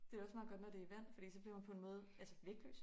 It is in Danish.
Det også meget godt når det i vand fordi så bliver man på en måde altså vægtløs